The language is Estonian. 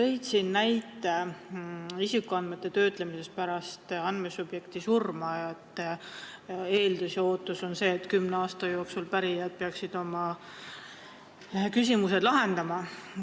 Sa tõid siin näite isikuandmete töötlemise kohta pärast andmesubjekti surma, et eeldus ja ootus on see, et kümne aasta jooksul peaksid pärijad need küsimused lahendama.